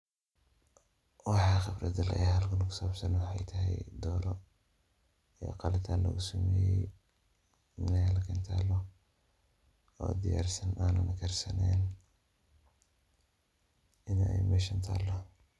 Waxaan qibrad u leeyahay halkan taalo. Waxay tahay dooro oo qalitaan lugusameeyey. Halkan taalo oo diyarsan aanan karsaneen in ay meshan taalo.